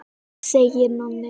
segir Nonni.